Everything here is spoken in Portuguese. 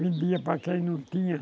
Vendia para quem não tinha.